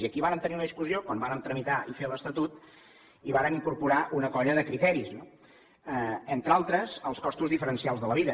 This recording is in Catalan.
i aquí vàrem tenir una discussió quan vàrem tramitar i fer l’estatut i vàrem incorporar una colla de criteris entre altres els costos diferencials de la vida